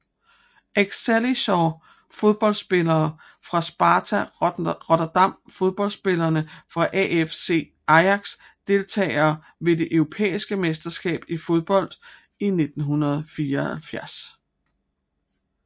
Excelsior Fodboldspillere fra Sparta Rotterdam Fodboldspillere fra AFC Ajax Deltagere ved det europæiske mesterskab i fodbold 1976